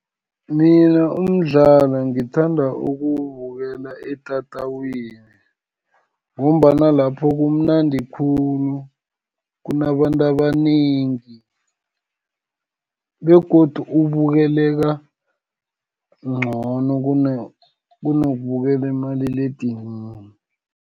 Mina umdlalo ngithanda ukuwubukela etatawini, ngombana lapho kumnandi khulu, kunabantu kanengi, begodu abukeleka ncono kunokubukela kumaliledinini.